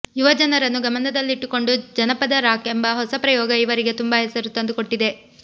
ಯುವಜನರನ್ನು ಗಮನದಲ್ಲಿಟ್ಟುಕೊಂಡು ಜನಪದ ರಾಕ್ ಎಂಬ ಹೊಸ ಪ್ರಯೋಗ ಇವರಿಗೆ ತುಂಬಾ ಹೆಸರು ತಂದುಕೊಟ್ಟಿದೆ